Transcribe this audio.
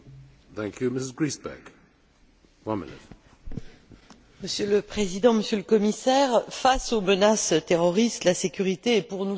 Monsieur le Président, Monsieur le Commissaire, face aux menaces terroristes, la sécurité est pour nous tous un impératif catégorique pour plagier le philosophe.